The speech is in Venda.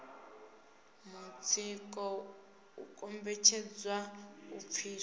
mutsiko u kombetshedzwa u pfiswa